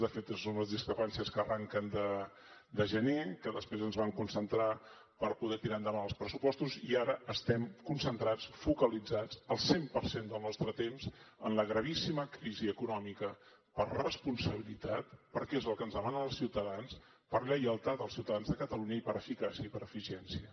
de fet són unes discrepàncies que arrenquen de gener que després ens vam concentrar per poder tirar endavant els pressupostos i ara estem concentrats focalitzats al cent per cent del nostre temps en la gravíssima crisi econòmica per responsabilitat perquè és el que ens demanen els ciutadans per lleialtat als ciutadans de catalunya i per eficàcia i per eficiència